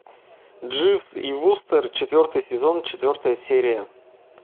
дживс и вустер четвертый сезон четвертая серия